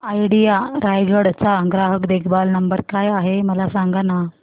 idea Raigad चा ग्राहक देखभाल नंबर काय आहे मला सांगाना